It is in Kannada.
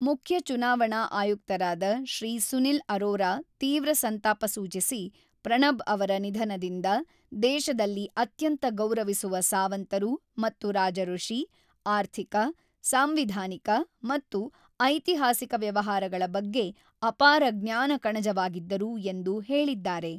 ಮುಖ್ಯ ಚುನಾವಣಾ ಆಯುಕ್ತರಾದ ಶ್ರೀ ಸುನಿಲ್ ಅರೋರ ತೀವ್ರ ಸಂತಾಪ ಸೂಚಿಸಿ ಪ್ರಣಬ್ ಅವರ ನಿಧನದಿಂದ ದೇಶದಲ್ಲಿ ಅತ್ಯಂತ ಗೌರವಿಸುವ ಸಾವಂತರು ಮತ್ತು ರಾಜಋಷಿ, ಆರ್ಥಿಕ, ಸಾಂವಿಧಾನಿಕ ಮತ್ತು ಐತಿಹಾಸಿಕ ವ್ಯವಹಾರಗಳ ಬಗ್ಗೆ ಆಪಾರ ಜ್ಞಾನಕಣಜವಾಗಿದ್ದರು ಎಂದು ಹೇಳಿದ್ದಾರೆ.